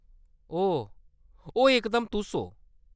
ओह्‌‌, ओह्‌‌ इकदम तुस ओ।